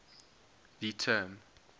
the term